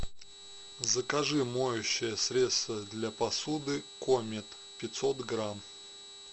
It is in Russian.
закажи моющее средство для посуды комет пятьсот грамм